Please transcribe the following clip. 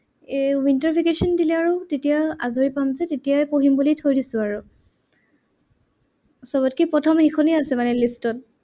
এৰ winter vacation দিলে আৰু তেতিয়া আজৰি পাম যে তেতিয়াই পঢ়িম বুলি থৈ দিছো আৰু। সবতকে প্ৰথম সেইখনেই আছে মানে list ত